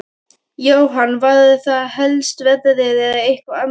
Jóhann: Var það helst veðrið eða eitthvað annað?